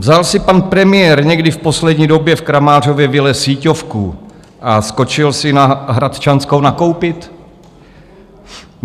Vzal si pan premiér někdy v poslední době v Kramářově vile síťovku a skočil si na Hradčanskou nakoupit?